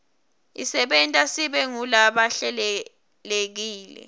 isenta sibe ngulaba hlelekile